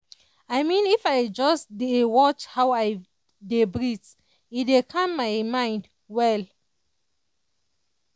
i mean if i just dey watch how i dey breathe e dey calm my mind well.